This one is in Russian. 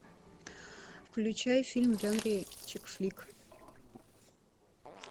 включай фильм в жанре чик флик